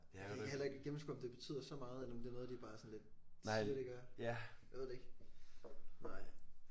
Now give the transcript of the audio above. Jeg kan heller ikke gennemskue om det betyder så meget eller om det er noget de bare sådan lidt siger at det gør. Nej jeg ved det ikke nej